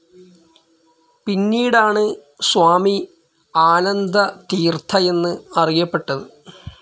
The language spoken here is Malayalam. പിന്നീടാണ് സ്വാമി ആനന്ദതീർഥ എന്ന് അറിയപ്പെട്ടത്.